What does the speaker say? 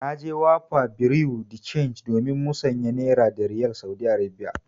Na je Wapa bureau de change domin musanya Naira da Riyal Saudi Arabiya.